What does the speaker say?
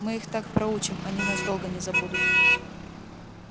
мы их так проучим они нас долго не забудут